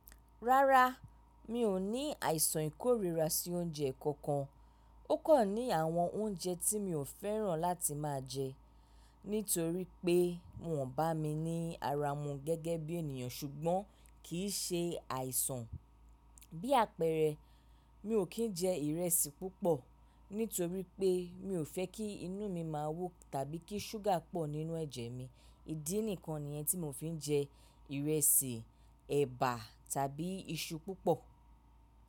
Rárá, mi ò ní àìsàn ìkórira sí oúnjẹ kankan. Ó kàn ní àwọn oúnjẹ tí mi ò fẹ́ràn láti máa jẹ nítorí pé wọn bà mí ní ara mu gẹ́gẹ́ bí ènìyàn ṣùgbọ́n kì í ṣe àìsàn. Bí àpẹẹrẹ, mi ò kín jẹ ìrẹsì púpọ̀ nítorí pé mi ò fẹ́ kí inú mi máa wó tàbí kí ṣúgà pọ̀ nínú ẹ̀jẹ̀ mi. Ídí nìkan nìyẹn tí mo fi ń jẹ ìrẹsì, ẹ̀bà tàbí iṣu púpọ̀.